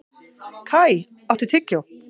Kai, áttu tyggjó?